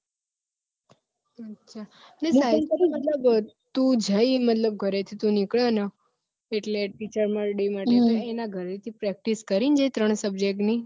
તું જઈ મને ઘરે થી તું નીકળે ને એટલે teacher day માટે ઘરે થી તુ નીકળે ને એટલે ઘરે થી practice કરી ને ત્રણ subject ની